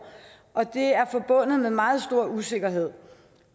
og det er forbundet med meget stor usikkerhed